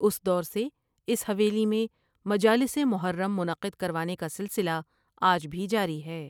اس دور سے اس حویلی میں مجالس محرم منعقد کروانے کا سلسلہ آج بھی جاری ہے ۔